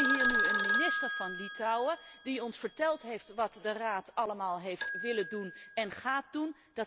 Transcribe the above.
En wij hebben hier nu een minister van Litouwen die ons verteld heeft wat de Raad allemaal heeft willen doen en gaat doen.